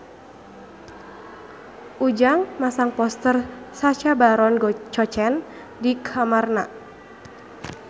Ujang masang poster Sacha Baron Cohen di kamarna